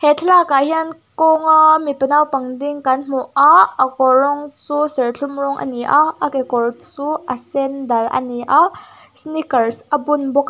he thlalakah hian kawng a mipa naupang ding kan hmu a a kawr rawng chu serthlum rawng a ni a a kekawr chu a sen dal a ni a sneakers a bun bawk a.